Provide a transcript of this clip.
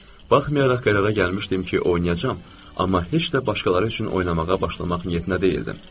Baxmayaraq qərara gəlmişdim ki, oynayacağam, amma heç də başqaları üçün oynamağa başlamaq niyyətində deyildim.